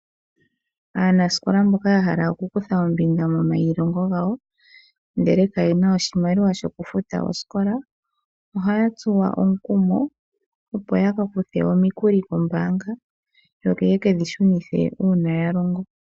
Aanasikola mboka ya hala oku kutha ombinga momailongo gawo ndele ka yena oshimaliwa shoku futa osikola, ohaya tsuwa omukumo, opo yaka kuthe omikulo kombaanga, yo ye kedhi shunithe ngele ya longo.